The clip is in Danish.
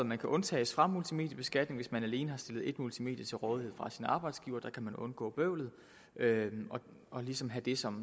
man kan undtages fra multimedieskatning hvis man alene har fået stillet ét multimedie til rådighed af sin arbejdsgiver der kan man undgå bøvlet og ligesom have det som